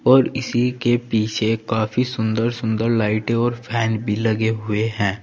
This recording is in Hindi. और इसी के पीछे काफी सुंदर सुंदर लाइटें और फैन भी लगे हुए हैं।